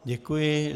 Děkuji.